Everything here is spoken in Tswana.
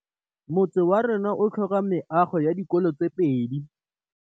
Motse warona o tlhoka meago ya dikolô tse pedi.